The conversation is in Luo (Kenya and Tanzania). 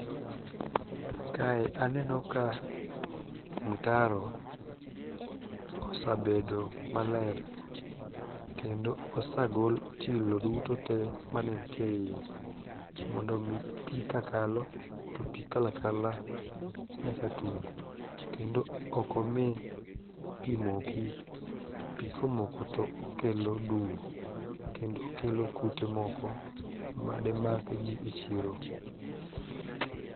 Kae aneno ka mtaro osabedo maler kendo osagol chilo duto te mane ntie e iye mondo omi pi kakalo to pi kalakala nyaka tung' kendo okomi pi moki pi komoko to okelo dum kendo okelo kute moko mademak ji e chiro.